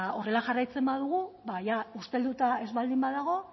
horrela jarraitzen badugu ia ustelduta ez baldin badago